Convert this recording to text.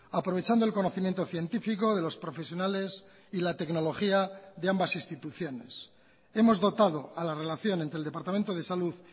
aprovechando el conocimiento científico de los profesionales y la tecnología de ambas instituciones hemos dotado a la relación entre el departamento de salud